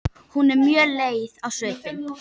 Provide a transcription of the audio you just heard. Hún er mjög leið á svipinn.